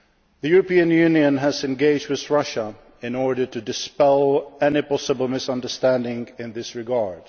same time. The European Union has engaged with Russia in order to dispel any possible misunderstandings in this